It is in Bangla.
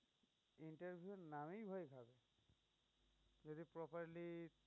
interview এর নামেই ভয় পাবে। যদি properly